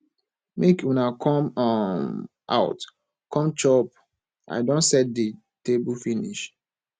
make una come um out come chop i don set the table finish